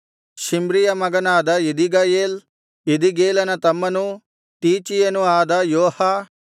ಶಿಮ್ರಿಯ ಮಗನಾದ ಎದೀಗಯೇಲ್ ಎದೀಗೇಲನ ತಮ್ಮನೂ ತೀಚೀಯನೂ ಆದ ಯೋಹ